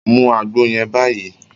Mú àgbo yẹn báyìí!